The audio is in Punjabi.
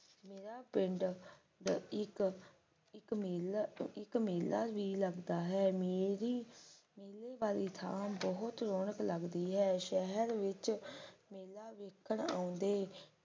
ਮੇਰਾ ਪਿੰਡ ਇੱਕ ਇਕ ਮੇਲ ਇੱਕ ਮੇਲਾ ਵੀ ਲੱਗਦਾ ਹੈ ਮੇਲੀ ਮੇਲੇ ਵਾਲੀ ਥਾਂ ਬਹੁਤ ਰੋਣਕ ਲੱਗਦੀ ਹੈ ਸ਼ਹਿਰ ਵਿੱਚ ਮੇਲਾ ਵੇਖਣ ਆਉਂਦੇ